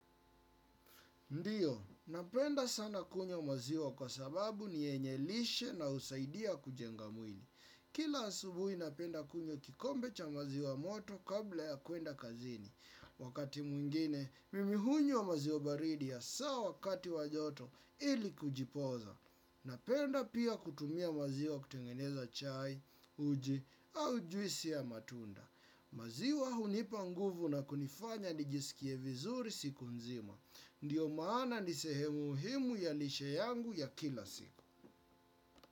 Ndiyo, napenda sana kunywa maziwa kwa sababu niyenye lishe na usaidia kujenga mwili. Kila asubuhi napenda kunywa kikombe cha maziwa moto kabla ya kwenda kazini. Wakati mwingine, mimi hunywa maziwa baridi hasaa wakati wa joto ili kujipoza. Napenda pia kutumia maziwa kutengeneza chai, uji, au juisi ya matunda. Maziwa hunipa nguvu na kunifanya nijisikie vizuri siku nzima. Ndiyo maana nisehemu muhimu ya lishe yangu ya kila siku.